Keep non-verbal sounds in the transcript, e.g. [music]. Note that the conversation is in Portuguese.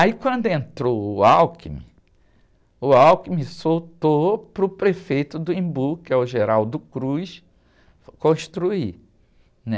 Aí quando entrou o, [unintelligible] o [unintelligible] soltou para o prefeito do Embu, que é o, [unintelligible] construir, né?